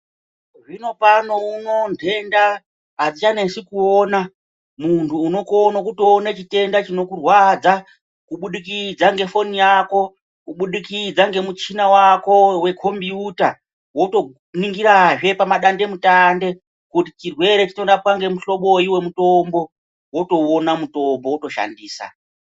Zvinopano uno ntrnda adzivhanesei kuona muntu unokone kuyoone chitenda chinokurwadza kubudikudza ngefoni yako kubudikudza ngemuchina wako wekomboyuta wotoningirazve pama dande mutande kuti chirwere chinorapwa ngemuhloboi wemutombo wotouona mutombo wotoshandisa.